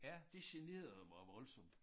Det generede mig voldsomt